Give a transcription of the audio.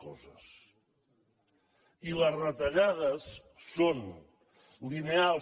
miri les retallades no són lineals